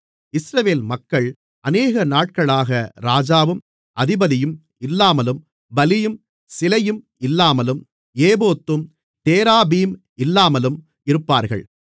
இஸ்ரவேல் மக்கள் அநேகநாட்களாக ராஜாவும் அதிபதியும் இல்லாமலும் பலியும் சிலையும் இல்லாமலும் ஏபோத்தும் தேராபீம் இல்லாமலும் இருப்பார்கள்